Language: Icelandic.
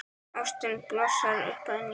Ástin blossar upp að nýju.